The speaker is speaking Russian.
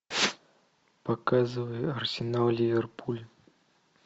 показывай арсенал ливерпуль